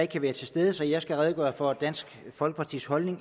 kan være til stede så jeg skal redegøre for dansk folkepartis holdning